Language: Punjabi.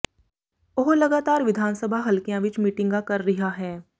ਉਹ ਲਗਾਤਾਰ ਵਿਧਾਨ ਸਭਾ ਹਲਕਿਆਂ ਵਿਚ ਮੀਟਿੰਗਾਂ ਕਰ ਰਿਹਾ ਹੈ